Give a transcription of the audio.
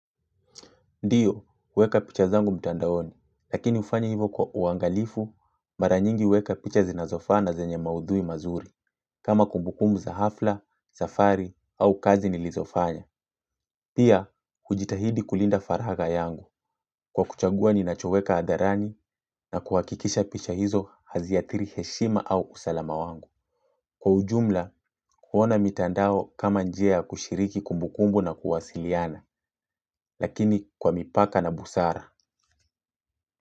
Ndio huweka picha zangu mtandaoni lakini hufanya hivo kwa uangalifu mara mingi hueka picha zinazofaa na zenye maudhui mazuri kama kumbukumbu za hafla safari au kazi nilizo fanya. Pia, kujitahidi kulinda faraga yangu. Kwa kuchagua ni nachoweka hadharani na kuhakikisha picha hizo hazihathiri heshima au usalama wangu. Kwa ujumla, huona mitandao kama njia kushiriki kumbukumbu na kuwasiliana, lakini kwa mipaka na busara.